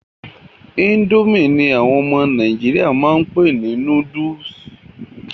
Ińdómì ní àwọn ọmọ nàìjíríà máa n pé gbogbo noodles.